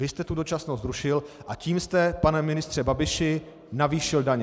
Vy jste tu dočasnost zrušil, a tím jste, pane ministře Babiši, navýšil daně.